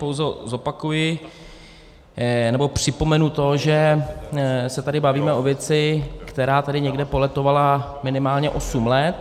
Pouze zopakuji nebo připomenu to, že se tady bavíme o věci, která tady někde poletovala minimálně osm let.